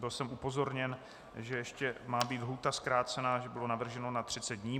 Byl jsem upozorněn, že ještě má být lhůta zkrácena, že bylo navrženo na 30 dní.